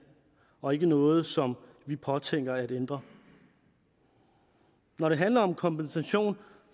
og ikke noget som vi påtænker at ændre når det handler om kompensation